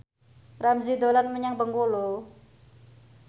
Ramzy dolan menyang Bengkulu